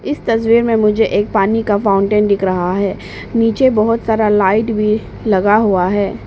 इस तस्वीर में मुझे एक पानी का फाउंटेन दिख रहा है नीचे बहुत सारा लाइट भी लगा हुआ है।